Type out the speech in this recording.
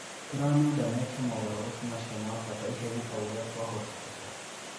"Tũramenda meeke mogaruruku macio ma bata ihenya o uria kwahotekeka.